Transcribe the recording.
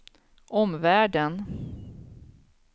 omvärlden